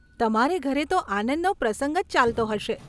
તમારે ઘરે તો આનંદનો પ્રસંગ જ ચાલતો હશે.